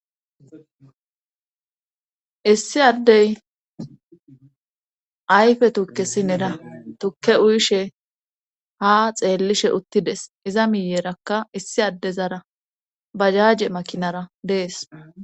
Issi addey ayfe tukkesi nera tukke uyishe ha xeellishe uttides iza miyerakka issi addezara bajaaje makinara dees.